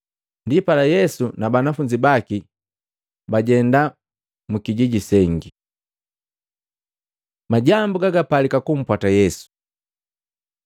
Ndipala Yesu na banafunzi baki bajenda mwikijiji sengi. Majambu gagapaliki kumpwata Yesu Matei 8:19-22